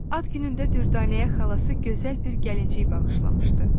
Ad günündə Dürdanəyə xalası gözəl bir gəlincik bağışlamışdı.